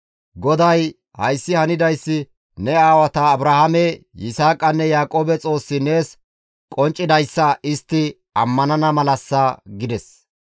GODAY, «Hayssi hanidayssi ne aawata Abrahaame, Yisaaqanne Yaaqoobe Xoossi nees qonccidayssa istti ammanana malassa» gides.